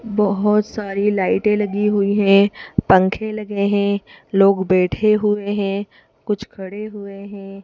बहोत सारी लाइटे लगी हुई है पंखे लगे हैं लोग बैठे हुए हैं कुछ खड़े हुए हैं।